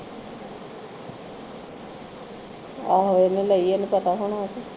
ਆਹੋ ਉਹਨੇ ਲਈ ਓਹਨੂੰ ਪਤਾ ਹੋਣਾ ਉਥੇ